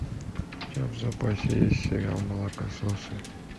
у тебя в запасе есть сериал молокососы